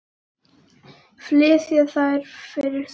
Flysjið þær þá fyrir suðu.